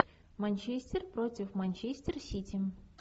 манчестер против манчестер сити